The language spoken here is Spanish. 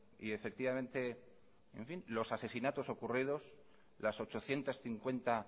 y efectivamente en fin los asesinatos ocurridos las ochocientos cincuenta